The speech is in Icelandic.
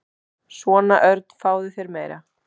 Svona, Örn, fáðu þér meira.